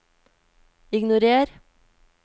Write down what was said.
ignorer